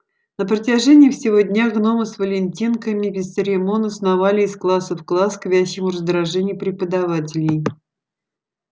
на протяжении всего дня гномы с валентинками бесцеремонно сновали из класса в класс к вящему раздражению преподавателей